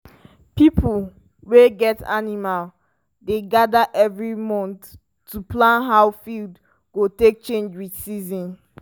pipo wey get animal dey gather every month to plan how field go take change with season.